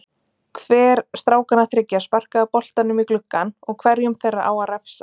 Hver strákanna þriggja sparkaði boltanum í gluggann og hverjum þeirra á að refsa?